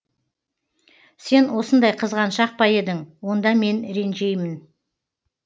сен осындай қызганшақ па едің онда мен ренжеймін